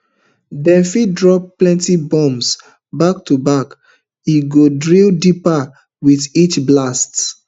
dem fit drop plenty bombs back to back e go drill deeper wit each blast